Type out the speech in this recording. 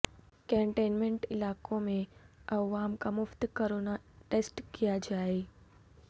containment علاقوں میں عوام کا مفت کورونا ٹسٹ کیا جائے